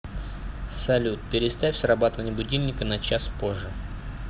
салют переставь срабатывание будильника на час позже